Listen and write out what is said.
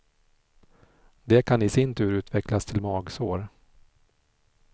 Det kan i sin tur utvecklas till magsår.